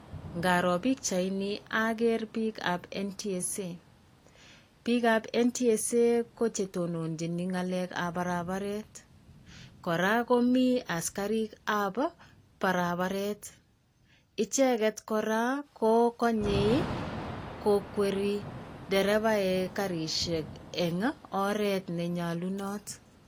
Ngaroo pichaini ager biikap NTSA. Biikap NTSA ko chetononchin ng'alekab barabaret. Koraa komi asikarikap barabaret. Icheget koraa, ko konyei ko kwerii derevaek garisiek eng' oret nenyalunot.